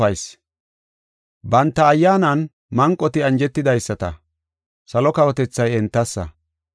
“Banta ayyaanan manqoti anjetidaysata, salo kawotethay entassa.